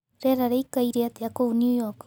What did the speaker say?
rĩera rĩĩkaĩre atĩa kũũ new york